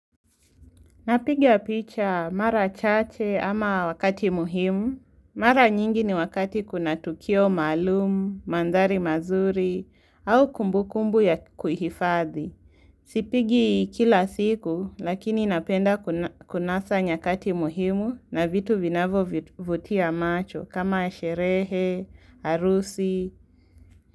Napiga picha mara chache ama wakati muhimu. Mara nyingi ni wakati kuna tukio maalum, mandhari mazuri, au kumbu kumbu ya kuhifadhi. Sipigi kila siku lakini napenda kunasa nyakati muhimu na vitu vinavo vutia macho kama sherehe, harusi.